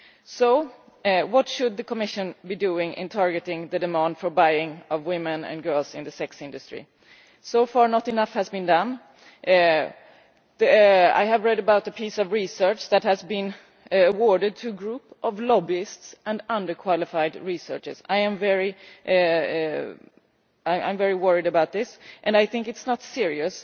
So, what should the Commission be doing in targeting the demand for buying women and girls in the sex industry? So far, not enough has been done. I have read about the piece of research that has been awarded to a group of lobbyists and under qualified researchers. I am very worried about this, and I think it is not serious.